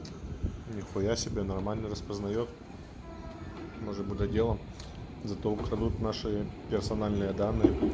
нихуясебе нормально распознает может быть делом за то украдут наши персональные данные